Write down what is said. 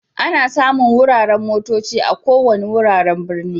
Ana samun wuraren motocci a ko wanni wuraren birni.